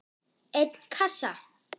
einn kassa?